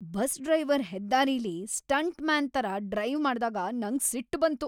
Bus driver ಹೆದ್ದಾರಿಲಿ stuntman ತರ drive ಮಾಡ್ದಾಗ ನಂಗ್ ಸಿಟ್ ಬಂತು.